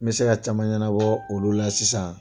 N bɛ se ka caman ɲɛnabɔ olu la sisan